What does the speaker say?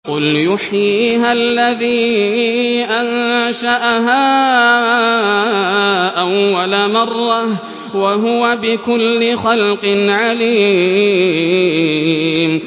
قُلْ يُحْيِيهَا الَّذِي أَنشَأَهَا أَوَّلَ مَرَّةٍ ۖ وَهُوَ بِكُلِّ خَلْقٍ عَلِيمٌ